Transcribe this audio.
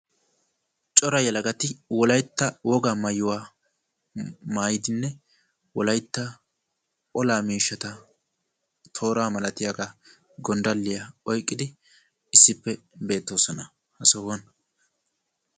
Cora yelagati wolayitta wogaa maayuwa maayidinne wolayitta olaa miishshata tooraa malatiyaga gonddalliya oyqqidi issippe beettoosona ha sohuwan.